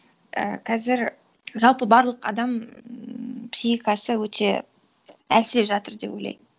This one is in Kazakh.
і қазір жалпы барлық адам психикасы өте әлсіреп жатыр деп ойлаймын